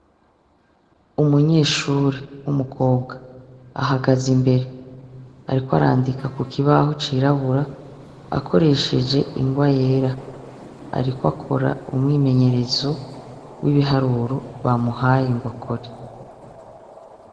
Umunyeshure w'umukobwa ahagaze imbere, ariko arandika ku kibaho cirabura akoreshe ingwa yera. Ariko akora umwimenyerezo w'ibiharuro bamuhaye ngwakore.